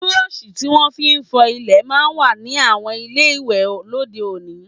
Burọ̀ṣì tí wọ́n fi ń fọ ilẹ̀ máa ń wà ní àwọn ilé ìwẹ̀ lóde òní